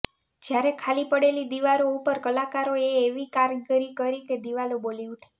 જ્યારે ખાલી પડેલી દિવારો ઉપર કલાકારો એ એવી કારીગરી કરી કે દીવાલો બોલી ઉઠી